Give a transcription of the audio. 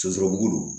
Sɔsɔbugu